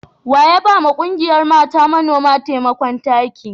Wa ya ba wa ƙungiyar mata manoma taimakon taki?